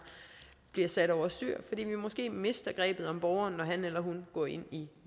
bliver sat over styr fordi vi måske mister grebet om borgeren når han eller hun går ind i